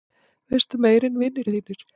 Veistu meira en vinir þínir?